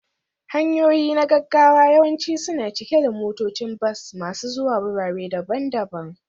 Hanyoyi na gaggawa yawanci suna cike da motocin bas masu zuwa wurare daban-daban